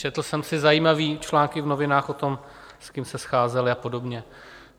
Četl jsem si zajímavé články v novinách o tom, s kým se scházeli a podobně.